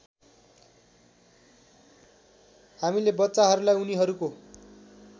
हामीले बच्चाहरूलाई उनीहरूको